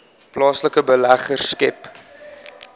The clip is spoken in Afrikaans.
plaaslike beleggers skep